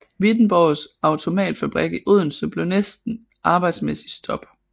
Wittenborgs Automatfabrik i Odense blev næste arbejdsmæssige stop